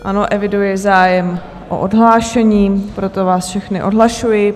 Ano, eviduji zájem o odhlášení, proto vás všechny odhlašuji.